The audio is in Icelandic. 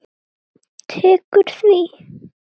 Tekur því?